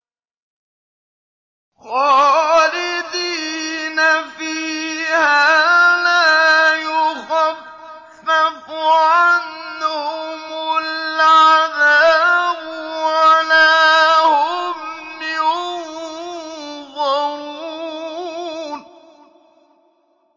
خَالِدِينَ فِيهَا لَا يُخَفَّفُ عَنْهُمُ الْعَذَابُ وَلَا هُمْ يُنظَرُونَ